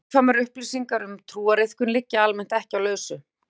Nákvæmar upplýsingar um trúariðkun liggja almennt ekki á lausu.